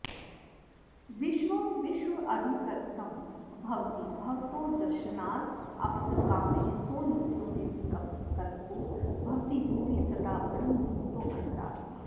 विश्वं विश्वाधिकरसं भवति भवतो दर्शनादाप्तकामः सो नित्यो निर्विकल्पो भवति भुवि सदा ब्रह्मभूतोऽन्तरात्मा